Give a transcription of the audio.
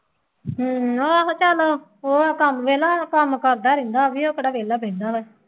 ਹੂੰ ਆਹੋ ਚੱਲ ਉਹ ਕੱਮ ਵਿਹਲਾ ਕੰਮ ਕਰਦਾ ਰਹਿੰਦਾ ਬਈ ਉਹ ਕਿਹੜਾ ਵਿਹਲਾ ਬਹਿੰਦਾ ਵਾ